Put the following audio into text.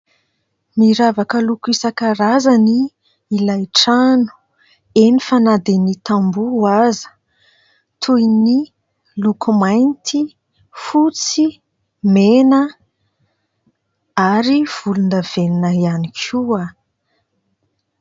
miravaka lokoisakaraza ny ilay trano eny fanadeny tamboo aza toy ny lokomainty fotsy mena ary volondavenina ihany koa